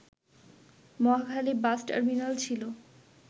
Mohakhali bus terminal ছিল